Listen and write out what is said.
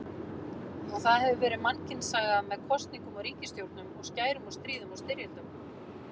Og það hefur verið mannkynssaga með kosningum og ríkisstjórnum og skærum og stríðum og styrjöldum.